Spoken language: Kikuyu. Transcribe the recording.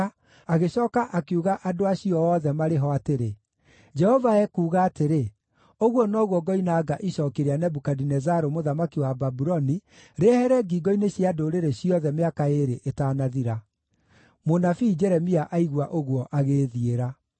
agĩcooka akiuga andũ acio othe marĩ ho atĩrĩ, “Jehova ekuuga atĩrĩ: ‘Ũguo noguo ngoinanga icooki rĩa Nebukadinezaru mũthamaki wa Babuloni, rĩehere ngingo-inĩ cia ndũrĩrĩ ciothe mĩaka ĩĩrĩ ĩtanathira.’ ” Mũnabii Jeremia aigua ũguo agĩĩthiĩra.